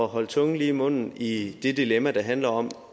holde tungen lige i munden i det dilemma der handler om